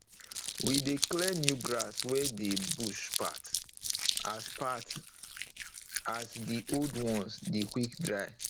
we de clear new grass wey dey bush path as path as d old ones dey quick dry